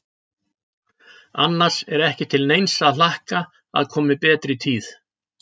Annars er ekki til neins að hlakka að komi betri tíð.